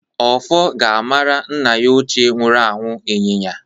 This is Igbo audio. Ọfọ ga-amara nna ya ochie nwuru anwụ ịnyịnya.